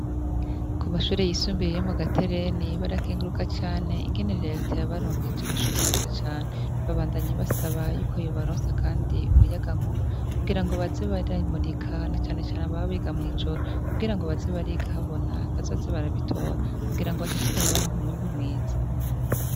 Ku mashure yisumbiye iyo mu gatereni barakinguruka cane ingenerere yateya baronkeja amashure meza cane babandanyi basaba yuko yobaronsa, kandi umuyaga nkuba kugira ngo bazibaramurikanacanecane ababa biga mw'ijoro kugira ngo bazi barigahabona bazoze barabitora kugira ngo bashishikare baronka umwimbu mwiza.